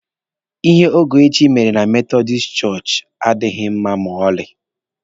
Ihe Ogechi mere na metọdis chọọchị adịghị mma ma ọlị